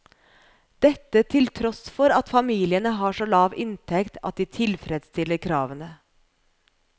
Dette til tross for at familiene har så lav inntekt at de tilfredsstiller kravene.